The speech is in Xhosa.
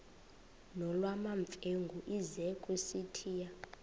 nolwamamfengu ize kusitiya